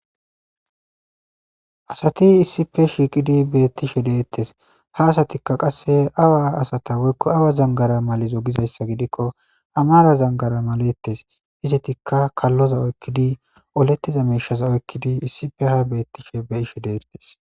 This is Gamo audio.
Asati issippe shiqqiddi betishshe detees.ha asatikka qase awa asata woyikko awaa zanigara malizzo Gizayissa gidikko amara zanigara maletees.izetikka kalozza oyikkidi oletiza mishsha oyikiddi de'etees.